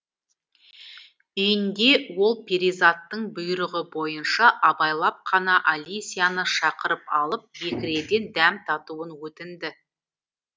үйінде ол перизаттың бұйрығы бойынша абайлап қана алисияны шақырып алып бекіреден дәм татуын өтінді